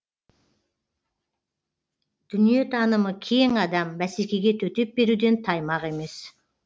дүниетанымы кең адам бәсекеге төтеп беруден таймақ емес